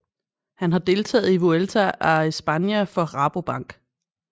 Han har deltaget i Vuelta a España for Rabobank